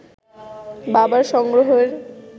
বাবার সংগ্রহের